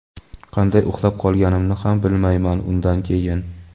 qanday uxlab qolganimni ham bilmayman undan keyin.